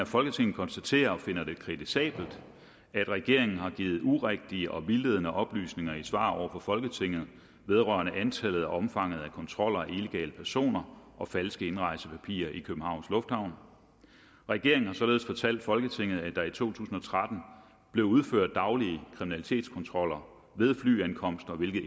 folketinget konstaterer og finder det kritisabelt at regeringen har givet urigtige og vildledende oplysninger i svar over for folketinget vedrørende antallet og omfanget af kontroller af illegale personer og falske indrejsepapirer i københavns lufthavn regeringen har således fortalt folketinget at der i to tusind og tretten blev udført daglige kriminalitetskontroller ved flyankomster hvilket